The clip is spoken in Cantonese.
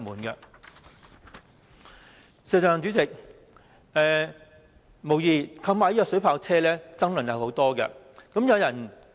代理主席，警方購買水炮車，引起很多爭議。